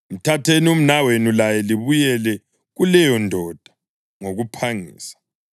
Mthatheni umnawenu laye libuyele kuleyondoda ngokuphangisa.